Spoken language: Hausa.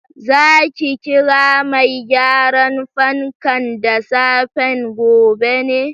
Za ki kira mai gyaran fankan da safen gobe ne?